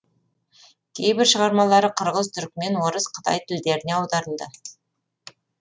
кейбір шығармалары қырғыз түрікмен орыс қытай тілдеріне аударылды